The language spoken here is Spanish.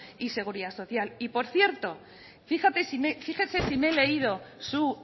y seguridad social y por cierto fíjese si me he leído su